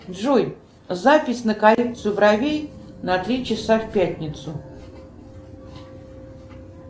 джой запись на коррекцию бровей на три часа в пятницу